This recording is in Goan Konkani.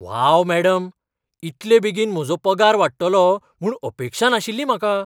वाव मॅडम! इतले बेगीन म्हजो पगार वाडटलो म्हूण अपेक्षा नाशिल्ली म्हाका!